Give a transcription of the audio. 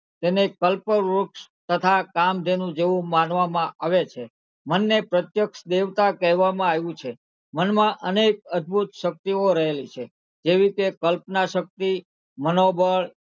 તેને કલ્પવ્રુક્ષ તથા કામધેનું જેવું માનવામાં આવે છે મનને પ્રત્યક્ષ દેવતાં કહેવામાં આવ્યું છે મનમાં અનેક અદ્ભુત શક્તિઓ રહેલી છે જેવી કે કલ્પનાશક્તિ, મનોબળ,